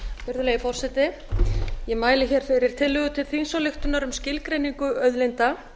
virðulegi forseti ég mæli fyrir tillögu til þingsályktunar um skilgreiningu auðlinda